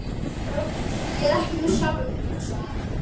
Ég er ekki með sjálfum mér, hugsaði hann.